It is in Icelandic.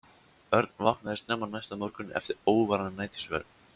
Örn vaknaði snemma næsta morgun eftir óværan nætursvefn.